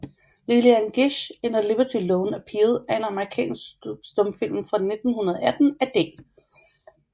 Lillian Gish in a Liberty Loan Appeal er en amerikansk stumfilm fra 1918 af D